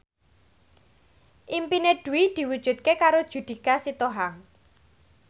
impine Dwi diwujudke karo Judika Sitohang